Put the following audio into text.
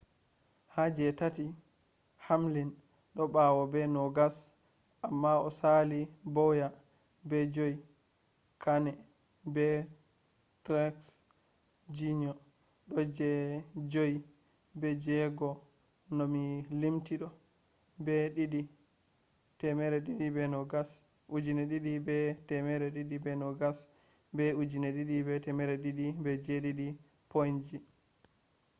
ha je tati hamlin do bawo be nogas amma o sali bowyer be joyi kahne be truex jr do je joyi be je jego no mi limti do be 2,220 be 2,207 point ji